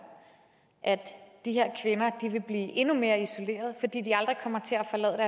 at de her kvinder vil blive endnu mere isoleret fordi de aldrig kommer til